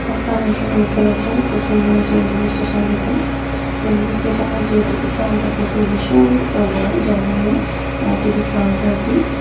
আপনার এখানে দেখতে পাচ্ছেন খুব সুন্দর একটি রেলওয়ে স্টেশন দেখুন। রেলওয়ে স্টেশনের যে টিকিট কাউন্টার দেখুন ভীষণ বড় জায়গা নিয়ে টিকিট কাউন্টারটি ।